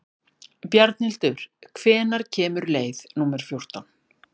Bjarnhildur, hvenær kemur leið númer fjórtán?